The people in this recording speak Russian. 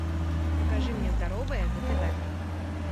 покажи мне здоровое на тв